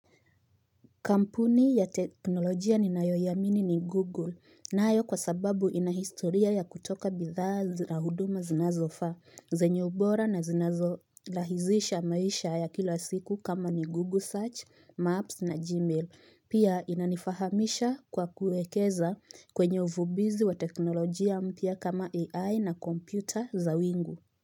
Kampuni ya teknolojia ninayoyamini ni Google nayo kwa sababu inahistoria ya kutoka bidhaa zirahuduma zinazofa, zenye ubora na zinazo lahizisha maisha ya kila siku kama ni Google Search, Maps na Gmail. Pia inanifahamisha kwa kuekeza kwenye uvubizi wa teknolojia mpya kama AI na kompyuta za wingu.